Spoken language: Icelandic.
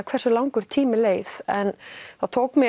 hversu langur tími leið en það tók mig